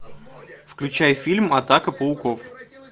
включай фильм атака пауков